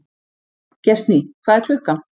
Gestný, hvað er klukkan?